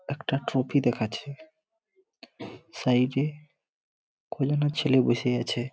একটা ট্রফি দেখাচ্ছে সাইড -এ কয়জনা ছেলে বসে আছে।